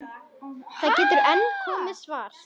Það getur enn komið svar!